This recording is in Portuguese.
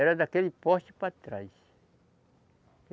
Era daquele poste para trás.